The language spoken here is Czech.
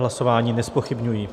Hlasování nezpochybňuji.